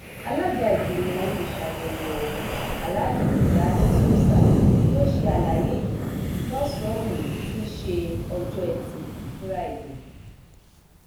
alága ìgbìmọ olùṣàyẹwò ọhún aláàjì tìjàni túmsa ló ṣe àlàyé yìí lọsànán òní tí í ṣe ọjọ etí fúrádìe